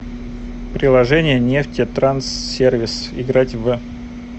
приложение нефтетранссервис играть в